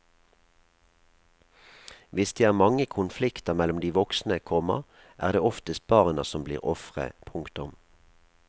Hvis det er mange konflikter mellom de voksne, komma er det oftest barna som blir ofre. punktum